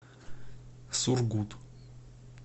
сургут